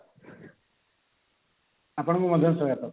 ଆପଣଙ୍କୁ ମଧ୍ୟ ସ୍ଵାଗତ